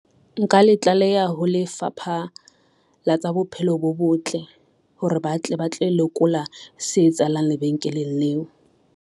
Nka le tlaleha ho Lefapha la tsa Bophelo bo Botle, hore ba tle ba tlo lekola se etsahalang lebenkeleng leo.